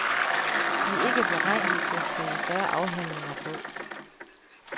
De er ikke beregnet til at skrive større afhandlinger på.